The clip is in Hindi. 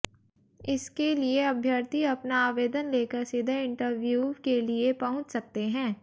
इसके लिए अभ्यर्थी अपना आवेदन लेकर सीधे इंटरव्यूव के लिए पहुंच सकते है